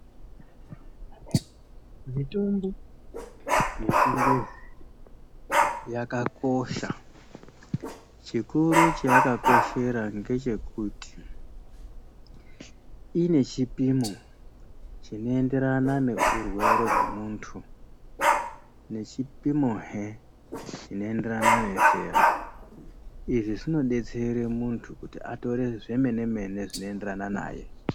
Mitombo yechingezi yakakosha chikuru chayakakoshera ngechekuti inechipimo chinoenderana neurwere hwemuntu nechipimohe chinoenderana nezera izvi zvinodetsere munhu kuti atore zvemenemene zvinoenderana naye.